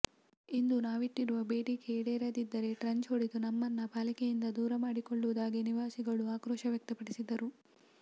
ಇಂದು ನಾವಿಟ್ಟಿರುವ ಬೇಡಿಕೆ ಈಡೇರದಿದ್ದರೆ ಟ್ರಂಚ್ ಹೊಡೆದು ನಮ್ಮನ್ನ ಪಾಲಿಕೆಯಿಂದ ದೂರ ಮಾಡಿಕೊಳ್ಳುವುದಾಗಿ ನಿವಾಸಿಗಳು ಆಕ್ರೋಶ ವ್ಯಕ್ತಪಡಿಸಿದರು